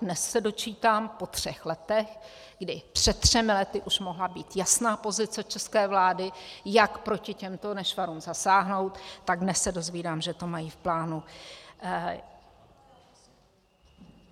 Dnes se dočítám, po třech letech, kdy před třemi lety už mohla být jasná pozice české vlády, jak proti těmto nešvarům zasáhnout, tak dnes se dozvídám, že to mají v plánu.